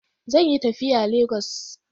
Zan yi tafiya Lagos.